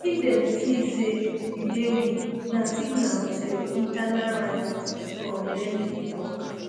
if dem see say you dey weak na signal to your internal rivals prof dendi tok